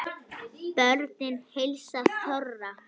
Börnin heilsa þorra